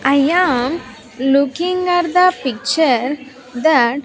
I am looking at the picture that --